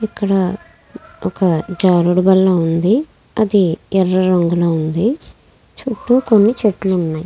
ఇక్కడ ఒక జారేడు వల్ల ఉంది. అది ఎర్ర రంగులో ఉంది. చుట్టూ కొన్ని చెట్లు ఉన్నాయి.